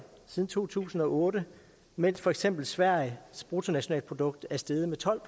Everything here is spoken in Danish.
siden to tusind og otte mens for eksempel sveriges bruttonationalprodukt er steget med tolv